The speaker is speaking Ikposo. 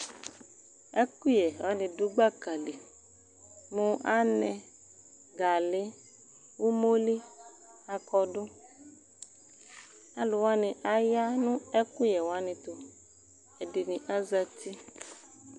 ɛku yɛ wani du gbaka li anɛ gali umoli akɔdu alu wani aya nu ɛkuyɛ wani tu ɛdini aza ti